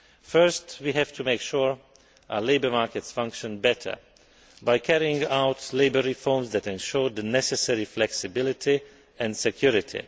First, we have to make sure our labour markets function better by carrying out labour reforms that ensure the necessary flexibility and security.